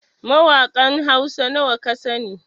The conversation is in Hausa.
Mawakan Hausa nawa kasani?